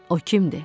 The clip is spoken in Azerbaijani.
O kimdir?